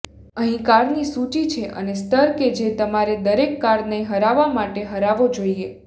અહીં કારની સૂચિ છે અને સ્તર કે જે તમારે દરેક કારને હરાવવા માટે હરાવવો જોઈએ